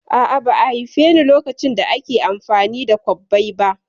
A'a, ba'a haifeni lokacin da ake amfani da kwabbai ba